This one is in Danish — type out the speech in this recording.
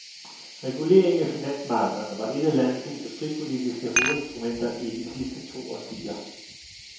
Reguleringen af finansmarkederne var et af landets industripolitiske hovedinstrumenter i de sidste to årtier.